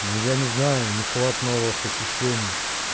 ну я не знаю нехват новых ощущений